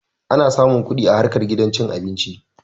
Ana samun kuɗi a harkar gidan cin abinci